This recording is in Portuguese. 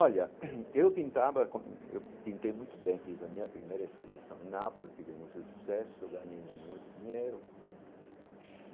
Olha, eu pintava com... Eu pintei muito bem fiz a minha primeira exposição em Nápoles, tivemos o sucesso, ganhei muito dinheiro.